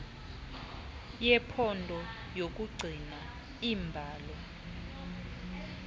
yephondo yokugcina iimbalo